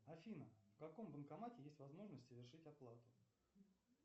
афина в каком банкомате есть возможность совершить оплату